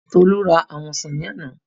Tolú ra àwọn ọsàn ní àná